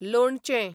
लोणचें